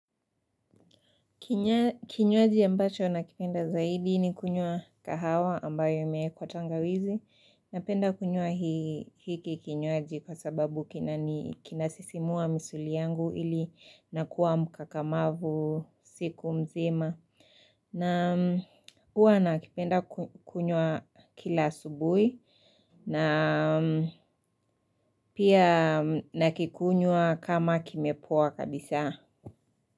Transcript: Kinywaji ambacho nakipenda zaidi ni kunywa kahawa ambayo imewekwa tangawizi. Napenda kunywa hiki kinywaji kwa sababu kinasisimua misuli yangu ili nakuwa mkakamavu siku mzima. Na huwa nakipenda kunyua kila asubuhi na pia nakikunywa kama kimepoa kabisa.